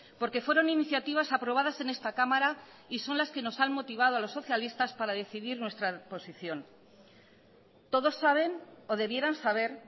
porque fueron iniciativas aprobadas en esta cámara y son las que nos han motivado a los socialistas para decidir nuestra posición todos saben o debieran saber